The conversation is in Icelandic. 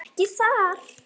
Ekki þar.